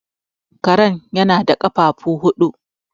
kare yana da kafafu huudu